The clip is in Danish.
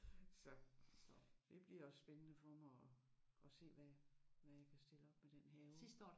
Så det bliver spændende for mig at at se hvad hvad jeg kan stille op med den have